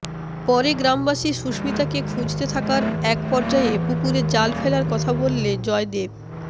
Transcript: পরে গ্রামবাসী সুস্মিতাকে খুঁজতে থাকার একপর্যায়ে পুকুরে জাল ফেলার কথা বললে জয়দেব